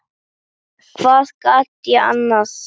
Hvað gat ég annað?